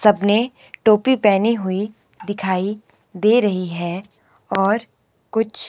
सब ने टोपी पहनी हुई दिखाई दे रही है और कुछ --